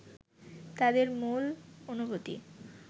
তাদের মূল অনুভূতি